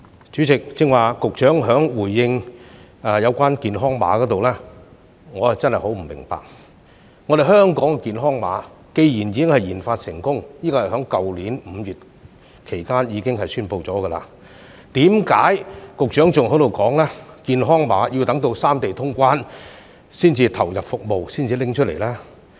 主席，剛才局長對於健康碼的回應，我真的很不明白，"香港健康碼"既然已經研發成功——這是在去年5月期間已經宣布的——為何局長仍在說健康碼要待三地通關才會投入服務，才會拿出來呢？